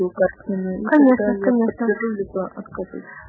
дпощкуеукшо